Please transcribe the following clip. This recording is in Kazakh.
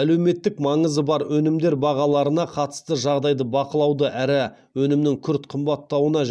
әлеуметтік маңызы бар өнімдер бағаларына қатысты жағдайды бақылауды әрі өнімнің күрт қымбаттауына